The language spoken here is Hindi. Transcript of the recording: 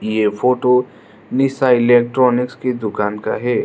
ये फोटो निशा इलेक्ट्रॉनिक्स की दुकान का है।